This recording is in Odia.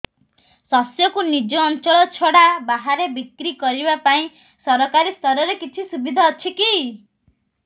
ଶସ୍ୟକୁ ନିଜ ଅଞ୍ଚଳ ଛଡା ବାହାରେ ବିକ୍ରି କରିବା ପାଇଁ ସରକାରୀ ସ୍ତରରେ କିଛି ସୁବିଧା ଅଛି କି